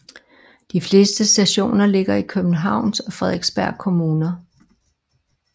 De fleste stationer ligger i Københavns og Frederiksberg Kommuner